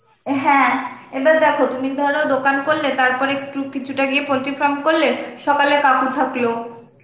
হ্যাঁ এবার দেখো তুমি ধরো দোকান করলে তারপরে একটু কিছুটা গিয়ে poultry farm করলে, সকালে কাকু থাকলো